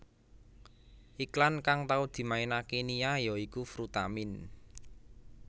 Iklan kang tau dimainaké Nia ya iku Frutamin